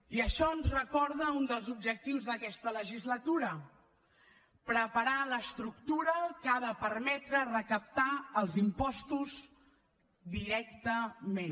i això ens recorda un dels objectius d’aquesta legislatura preparar l’estructura que ha de permetre recaptar els impostos directament